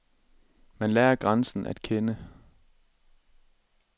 Man lærer grænsen at kende.